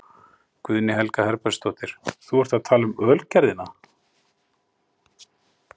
Guðný Helga Herbertsdóttir: Þú ert að tala um Ölgerðina?